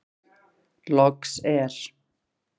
Loks er.